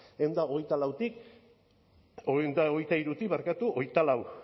ehun eta hogeita hirutik hogeita bost